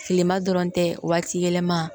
Tilema dɔrɔn tɛ waati yɛlɛma